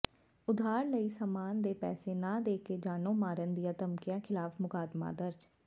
ਉਧਾਰ ਲਏ ਸਾਮਾਨ ਦੇ ਪੈਸੇ ਨਾ ਦੇ ਕੇ ਜਾਨੋਂ ਮਾਰਨ ਦੀਆਂ ਧਮਕੀਆਂ ਿਖ਼ਲਾਫ਼ ਮੁਕੱਦਮਾ ਦਰਜ